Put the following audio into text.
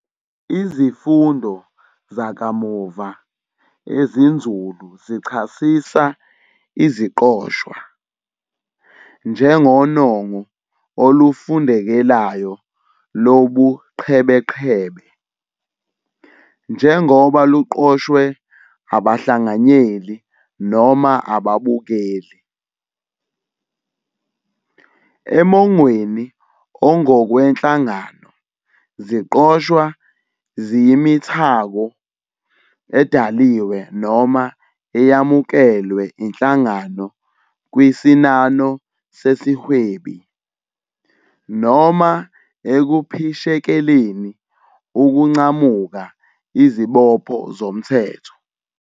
Izifundo zakamuva ezinzulu zichasisa Iziqoshwa "njengonongo olufundekelayo lobuqhebeqhebe" njengoba luqoshwe abahlanganyeli noma ababukeli. Emongweni ongokwenhlangano, iziqoshwa ziyimithako edaliwe noma eyamukelwe inhlangano kwisinano sesihwebi, noma ekuphishekeleni ukuncamuka izibopho zomthetho.